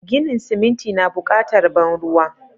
Ginin siminti na bukatar ban ruwa.